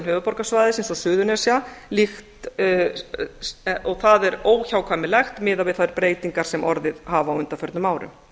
höfuðborgarsvæðisins og suðurnesja og það er óhjákvæmilegt miðað við þær breytingar sem orðið hafa á undanförnum árum